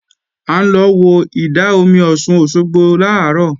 À ń lọ wo ìdá-omi Ọ̀ṣun Òṣogbo làárọ̀